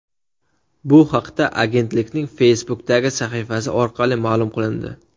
Bu haqda agentlikning Facebook’dagi sahifasi orqali ma’lum qilindi .